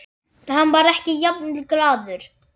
Hann var ekki jafn glaður.